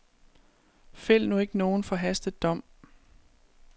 Fæld nu ikke nogen forhastet dom.